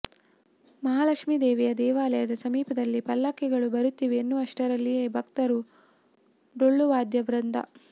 ಮಹಾಲಕ್ಷ್ಮೀ ದೇವಿಯ ದೇವಾಲಯದ ಸಮೀಪದಲ್ಲಿ ಪಲ್ಲಕ್ಕಿಗಳು ಬರುತ್ತಿವೆ ಎನ್ನುವಷ್ಟರಲ್ಲಿಯೇ ಭಕ್ತರು ಡೊಳ್ಳು ವಾದ್ಯವೃಂದ